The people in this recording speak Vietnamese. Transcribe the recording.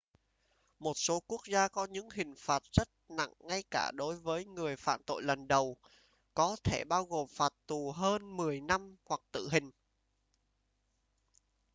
một số quốc gia có những hình phạt rất nặng ngay cả đối với người phạm tội lần đầu có thể bao gồm phạt tù hơn 10 năm hoặc tử hình